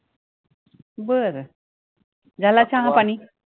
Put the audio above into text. बरं. झाला चहापाणी